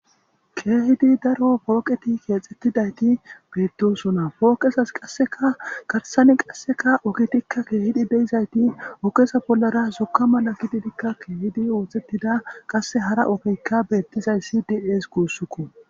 keehidi daro pooqeti keexxettidayti beettosona pooqesas qasseka garsani qasseka okitikka keehidi deizayti ogesa bollara suka mala kididikka keehidi wooththettida qasse hara okikka beettizayssi di7ees guussukko